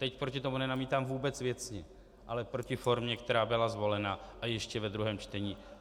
Teď proti tomu nenamítám vůbec věcně, ale proti formě, která byla zvolena, a ještě ve druhém čtení.